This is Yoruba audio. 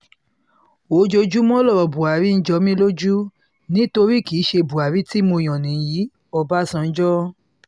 ojoojúmọ́ lọ̀rọ̀ buhari ń jọ mi lójú nítorí kì í ṣe buhari tí mo mọ̀ nìyí-òbànújò